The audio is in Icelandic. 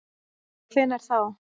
Hvenær þá?